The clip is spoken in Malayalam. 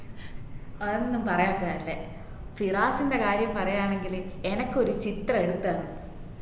അഒന്നും പറയാതെയാ നല്ലേ ഫിറാസിന്റെ കാര്യം പറയാണെങ്കിൽ എനക്കൊരു ചിത്രമെടുത്തന്ന്